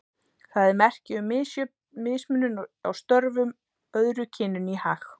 Það er merki um mismunun á störfum, öðru kyninu í hag.